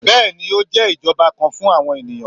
Bẹ́ẹ̀ni, o jẹ ijọba kan fun awọn eniyan